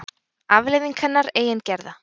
Afleiðing hennar eigin gerða.